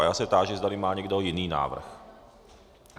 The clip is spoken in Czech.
A já se táži, zdali má někdo jiný návrh.